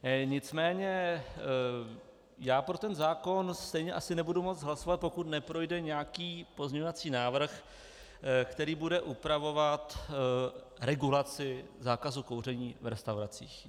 Nicméně já pro ten zákon stejně asi nebudu moci hlasovat, pokud neprojde nějaký pozměňovací návrh, který bude upravovat regulaci zákazu kouření v restauracích.